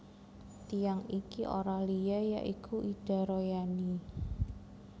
Tiyang iki ora liya ya iku Ida Royani